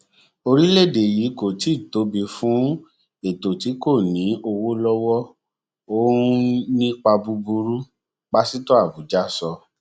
orílẹèdè yìí kò tíì tóbi fún ètò tí kò ní owó lọwọ ó n nípa búburú pásítọ abuja sọ